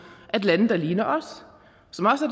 at lande der ligner os